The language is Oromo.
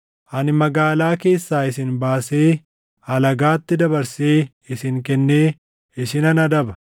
Ani magaalaa keessaa isin baasee alagaatti dabarsee isin kennee isinan adaba.